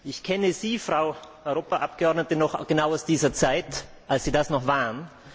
Ich kenne Sie, Frau Europaabgeordnete noch genau aus dieser Zeit, als Sie das noch waren.